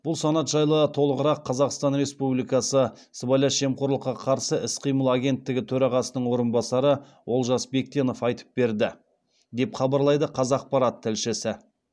бұл санат жайлы толығырақ қазақстан республикасы сыбайлас жемқорлыққа қарсы іс қимыл агенттігі төрағасының орынбасары олжас бектенов айтып берді деп хабарлайды қазақпарат тілшісі